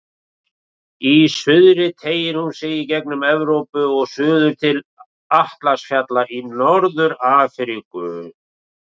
Í suðri teygir hún sig í gegnum Evrópu og suður til Atlas-fjalla í Norður-Afríku.